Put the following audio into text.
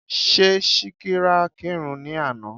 Ṣé Síkírá kírun ní àná?